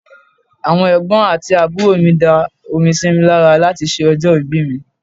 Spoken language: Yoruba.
Àwọn Ẹ̀gbọ́n àti àbúrò mi da omi sí mi lára láti ṣe ọjọ́ ìbí mi.